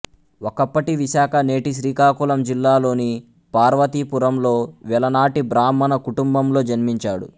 ఒకప్పటి విశాఖ నేటి శ్రీకాకుళం జిల్లాలోని పార్వతీపురం లో వెలనాటి బ్రాహ్మణ కుటుంబంలో జన్మించాడు